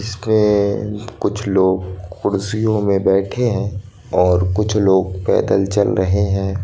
इसके कुछ लोग कुर्सियों में बैठे हैं और कुछ लोग पैदल चल रहे हैं।